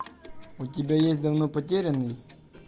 у тебя есть давно потерянные